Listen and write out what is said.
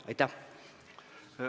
Aitäh!